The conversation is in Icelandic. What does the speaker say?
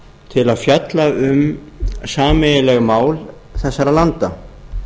til að fjalla um sameiginleg mál þessara landa